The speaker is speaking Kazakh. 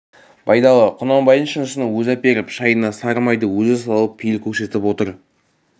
байдалы құнанбайдың шынысын өзі әперіп шайына сары майды өзі салып пейіл көрсетіп отыр